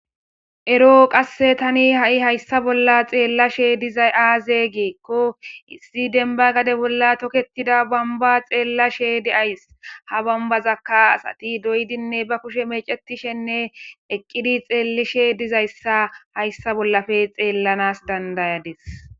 Ero qasse tani hayissa bolla xelashshe dizay aze gikko issi demba gade bolla toketida bomba xelashshe de'ays ha bombazakka asati doyidi ba kushshe mecishshenne eqidi xelishshe dizayisa hayissa bolappe xelanassa dandayadis